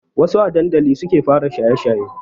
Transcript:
Wassu a dandali suke fara shaye shaye